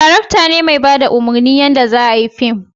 darakta ne mai bada umarnin yanda za a yi fim